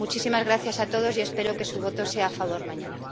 Muchísimas gracias a todos y espero que su voto sea a favor mañana.